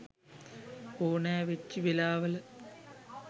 ඕනැ වෙච්චි වෙලාවල